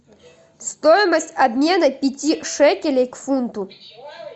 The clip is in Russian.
стоимость обмена пяти шекелей к фунту